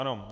Ano.